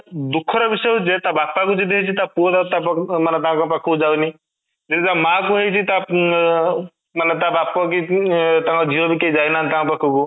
ଦୁଃଖ ର ବିଷୟ ଯେ ତା ବାପା କୁ ଯଦି ଆଜି ହେଇଛି ତା ପୁଅ ତା ପଟକୁ ମାନେ ତା ପୁଅ ତା ପାଖ କୁ ଯାଏନି ଯଦି ତା ମା କୁ ହେଇଛି ଅଂ ମାନେ ତା ବାପ କି ତାଙ୍କ ଝିଅ ବା ଯାଏନା ବି ତା ପାଖ କୁ